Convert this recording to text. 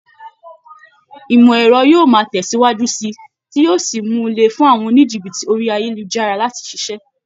Ìmọ̀ ẹ̀rọ yóò máa tẹ̀síwájú síi, tí yí ó sì mú un le fún àwọn oníjìbìtì orí ayélujára láti ṣiṣẹ́.